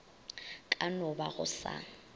ka no ba go sa